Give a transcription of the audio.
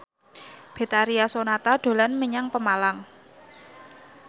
Betharia Sonata dolan menyang Pemalang